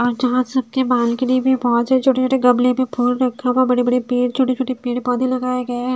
और जहां सबके बालकनी में बहुत से छोटे-छोटे गमले मैं फूल रखा हुआ है बड़े-बड़े पेड़ छोटे-छोटे पेड़ पौधे लगाए गए हैं।